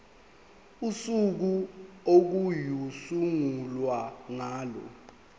usuku okuyosungulwa ngalo